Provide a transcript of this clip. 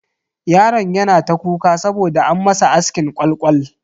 Yaron yana ta kuka saboda an masa askin kwal kwal.